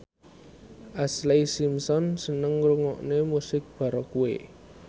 Ashlee Simpson seneng ngrungokne musik baroque